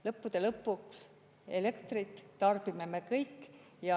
Lõppude lõpuks elektrit tarbime me kõik.